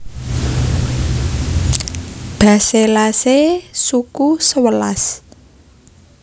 Basellaceae suku sewelas